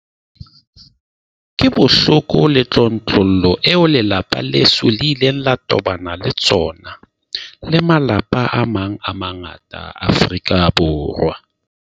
Ke bohloko le tlontlollo eo lelapa leso le ileng la tobana le tsona, le malapa a mang a mangata a Afrika Borwa.